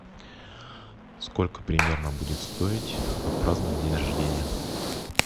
сколько примерно будет стоить отпраздновать день рождения